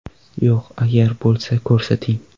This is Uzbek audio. Yo‘q, agar bo‘lsa ko‘rsating.